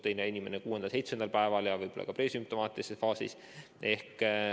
Mõni inimene võib ka kuuendal-seitsmendal päeval presümptomaatilises faasis olla.